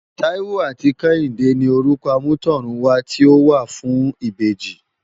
Taiwo áti Kehinde ni Órukò ámùtòrún wá ti ó wá fùn ibéji